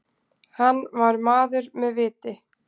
Hann var maður með viti.